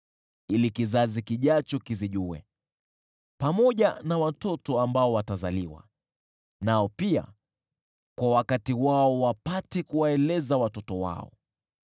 ili kizazi kijacho kizijue, pamoja na watoto ambao watazaliwa, nao pia wapate kuwaeleza watoto wao.